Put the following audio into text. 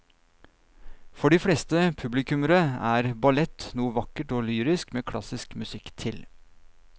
For de fleste publikummere er ballett noe vakkert og lyrisk med klassisk musikk til.